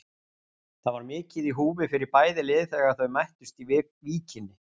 Það var mikið í húfi fyrir bæði lið þegar þau mættust í Víkinni.